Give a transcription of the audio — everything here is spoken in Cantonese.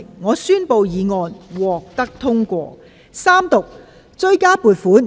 我宣布議案獲得通過。